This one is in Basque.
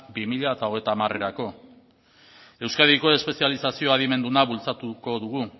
bi mila hogeita hamarerako euskadiko espezializazio adimenduna bultzatuko dugu